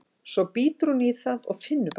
Svo bítur hún í það og finnur bragðið.